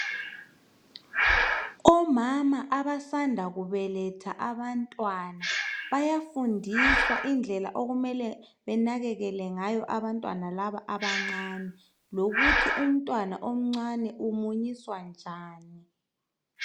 Omama abasanda kubeletha abantwana bayafundiswa indlela okumele benakekele ngayo abantwana laba abancane lokuthi umntwana omncane umunyiswa njani.